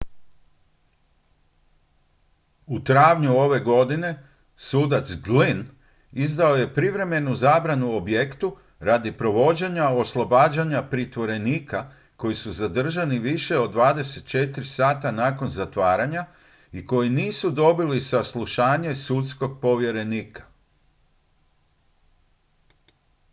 u travnju ove godine sudac glynn izdao je privremenu zabranu objektu radi provođenja oslobađanja pritvorenika koji su zadržani više od 24 sata nakon zatvaranja i koji nisu dobili saslušanje sudskog povjerenika